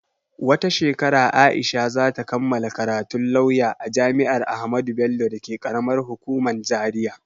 Wata shekara Aisha za ta kammala karatun lauya a jami'ar Ahmadu Bello dake ƙaramar hukuman Zaria.